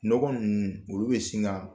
Nɔgɔn ninnu , olu bɛ sin ka